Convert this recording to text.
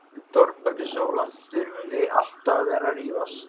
ÞÓRBERGUR: Sóla, þurfum við alltaf að vera að rífast?